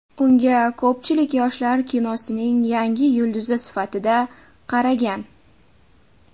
Unga ko‘pchilik yoshlar kinosining yangi yulduzi sifatida qaragan.